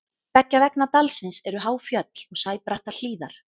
beggja vegna dalsins eru há fjöll og sæbrattar hlíðar